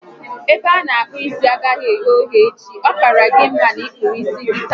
Ebe a ana akpu isi agaghi eghe oghe echi, ọ kaara gị mma na ị kpụrụ isi gị taa